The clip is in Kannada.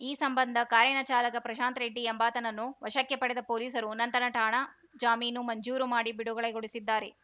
ಈ ಸಂಬಂಧ ಕಾರಿನ ಚಾಲಕ ಪ್ರಶಾಂತ್‌ ರೆಡ್ಡಿ ಎಂಬಾತನನ್ನು ವಶಕ್ಕೆ ಪಡೆದ ಪೊಲೀಸರು ನಂತರ ಠಾಣಾ ಜಾಮೀನು ಮಂಜೂರು ಮಾಡಿ ಬಿಡುಗಡೆಗೊಳಿಸಿದ್ದಾರೆ